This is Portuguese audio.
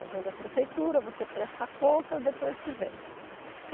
Vinha da prefeitura, você presta conta depois que vem.